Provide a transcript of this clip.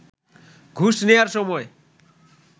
ঘুষ নেয়ার সময়